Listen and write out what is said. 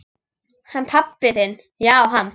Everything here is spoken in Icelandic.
Hann pabbi þinn já, hann.